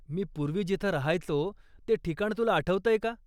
मी पूर्वी जिथं राहायचो ते ठिकाण तुला आठवतं का?